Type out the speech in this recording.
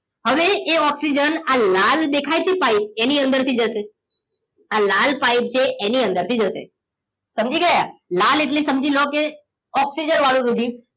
હવે એ ઓક્સિજન આ લાલ દેખાય છે એ પાઇપ એની અંદર થીજશે આ લાલ પાઇપ છે એની અંદર થીજશે સમજી ગયા લાલએટલે સમજીલોકે ઓક્સિજન વાળું રુધિર